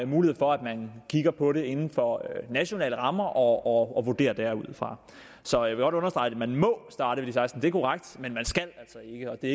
mulighed for at man kigger på det inden for nationale rammer og vurderer derudfra så jeg vil godt understrege at man godt må starte ved seksten år det er korrekt men man skal altså ikke og det